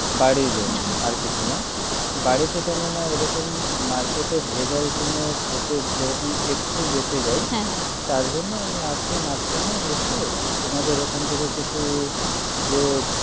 বাড়ির জন্য হ্যাঁ আর কিছু না বাড়ি তে কেনোনা এরকম market এ ভেজাল গুলো খেতে যেরকম একটু বেঁচে যায় হ্যাঁ হ্যাঁ তারজন্য আমি আসবো মাঝখানে এসে আমাদের এখান থেকে কিছু যে